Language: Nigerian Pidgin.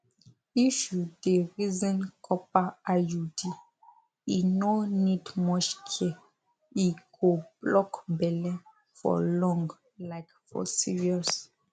if you dey reason copper iud e no need much care e go block belle for long like for serious